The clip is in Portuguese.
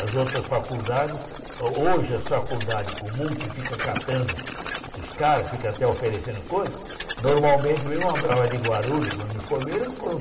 As outras faculdades, hoje a faculdade comum que fica catando os caras, fica até oferecendo coisas, normalmente, a de Guarulhos, quando me informei, eram